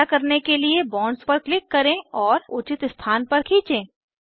ऐसा करने के लिए बॉन्ड्स पर क्लिक करें और उचित स्थान पर खीचें